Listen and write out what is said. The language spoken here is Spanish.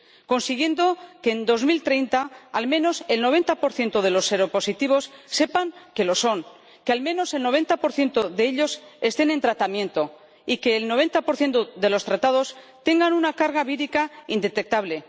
consiguiendo que en 2030 al menos el 90 de los seropositivos sepan que lo son, que al menos el 90 de ellos estén en tratamiento y que el 90 de los tratados tengan una carga vírica indetectable.